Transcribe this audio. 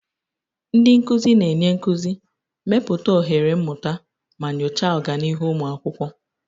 Ndị nkuzi na-enye nkuzi, mepụta ohere mmụta, ma nyochaa ọganihu ụmụ akwụkwọ.